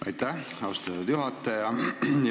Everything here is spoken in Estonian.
Aitäh, austatud juhataja!